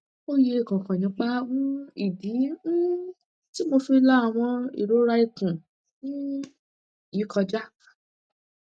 oye kan kan nipa um idi um ti mo fi la awon irora ikun um yi koja